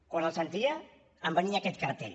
quan el sentia em venia aquest cartell